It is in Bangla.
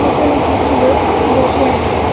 এখানে কিছু লোক বসে আছে।